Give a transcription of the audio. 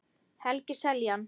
Helgi Seljan